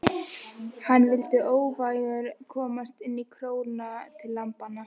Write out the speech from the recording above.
Hann vildi óvægur komast inn í króna til lambanna.